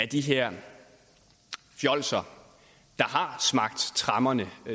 de her fjolser der har smagt tremmerne